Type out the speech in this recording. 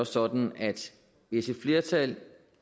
sådan at hvis et flertal